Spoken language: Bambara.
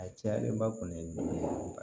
A cayalenba kɔni ye du